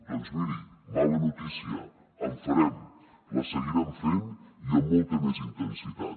doncs miri mala notícia en farem la seguirem fent i amb molta més intensitat